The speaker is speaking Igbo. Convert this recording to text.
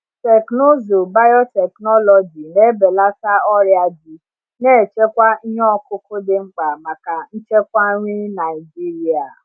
Teknụzụ biotechnology na-ebelata ọrịa ji, na-echekwa ihe ọkụkụ dị mkpa maka nchekwa nri Naijiria.